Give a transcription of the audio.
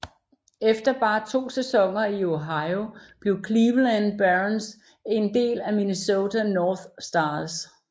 Efter bare to sæsoner i Ohio blev Cleveland Barons en del af Minnesota North Stars